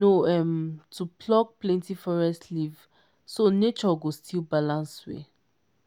no um too pluck plenty forest leaf so nature go still balance well.